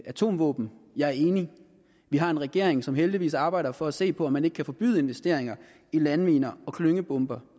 atomvåben jeg er enig vi har en regering som heldigvis arbejder for at se på om man ikke kan forbyde investeringer i landminer og klyngebomber